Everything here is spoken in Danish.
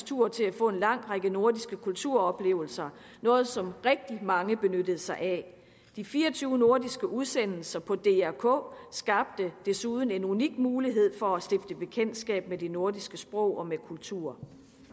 tur til at få en lang række nordiske kulturoplevelser noget som rigtig mange benyttede sig af de fire og tyve nordiske udsendelser på dr k skabte desuden en unik mulighed for at stifte bekendtskab med det nordiske sprog og med kulturen